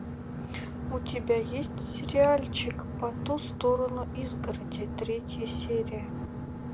у тебя есть сериальчик по ту сторону изгороди третья серия